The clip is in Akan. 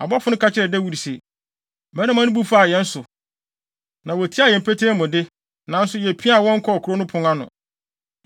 Abɔfo no ka kyerɛɛ Dawid se, “Mmarima no bu faa yɛn so, na wotiaa yɛn petee mu de, nanso yepiaa wɔn kɔɔ kurow no pon ano.